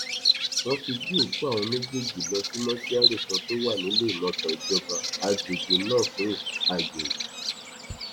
wọn ti gbé òkú àwọn méjèèjì lọ sí mọṣúárì kan tó wà níléemọsán ìjọba àgbègbè náà fún àyẹwò